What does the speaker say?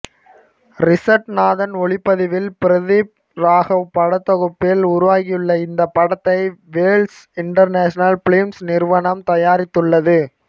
Richard Nathan ஒளிப்பதிவில் பிரதீப் ராகவ் படத்தொகுப்பில் உருவாகியுள்ள இந்த படத்தை வேல்ஸ் இண்டர்நேஷனல் பிலிம்ஸ் நிறுவனம் தயாரித்துள்ளது